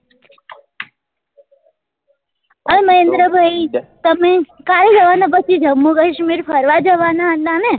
હા મહેન્દ્ર ભાઈ તમે ક્યારે જવા ના પછી જમ્મુ કાશ્મીર ફરવા જવા ના હતા ને